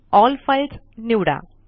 L files निवडा